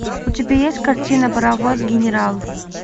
у тебя есть картина паровоз генерал